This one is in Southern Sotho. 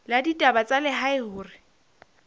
la ditaba tsa lehae hore